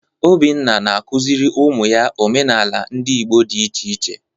Obinna na-akụziri ụmụ ya omenala ndị Igbo dị iche iche.